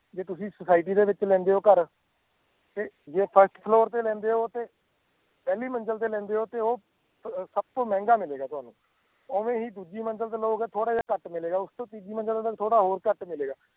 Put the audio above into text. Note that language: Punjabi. ਜੇ ਤੁਸੀਂ society ਦੇ ਵਿੱਚ ਲੈਂਦੇ ਹੋ ਘਰ ਤੇ ਜੇ first floor ਤੇ ਲੈਂਦੇ ਹੋ ਤੇ ਪਹਿਲੀ ਮੰਜ਼ਿਲ ਤੇ ਲੈਂਦੇ ਹੋ ਤੇ ਉਹ ਅਹ ਸਭ ਤੋਂ ਮਹਿੰਗਾ ਮਿਲੇਗਾ ਤੁਹਾਨੂੰ, ਉਵੇਂ ਹੀ ਦੂਜੀ ਮੰਜ਼ਿਲ ਤੇ ਲਓਗੇ ਥੋੜ੍ਹਾ ਜਿਹਾ ਘੱਟ ਮਿਲੇਗਾ, ਉਸ ਤੋਂ ਤੀਜੀ ਮੰਜ਼ਿਲ ਤੇ ਤੁਹਾਨੂੰ ਥੋੜ੍ਹਾ ਹੋਰ ਘੱਟ ਮਿਲੇਗਾ।